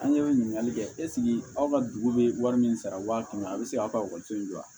An ye ɲininkali kɛ ɛseke aw ka dugu bɛ wari min sara waati min a bɛ se k'a ka ekɔliso in jɔ wa